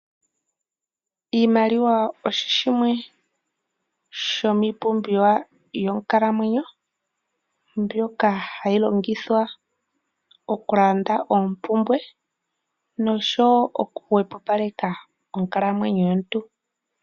Iimaliwa osho shimwe shomiipumbiwa yonkalamwenyo mbyoka hayi longithwa oku landa oompumbwe noshowo oku hwepopaleka onkalamwenyo yomuntu.